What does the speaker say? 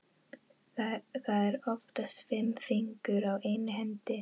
Það eru oftast fimm fingur á einni hendi.